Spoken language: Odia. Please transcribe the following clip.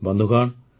ବନ୍ଧୁଗଣ